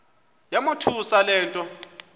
yamothusa le nto